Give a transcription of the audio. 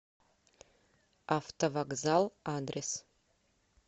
автовокзал адрес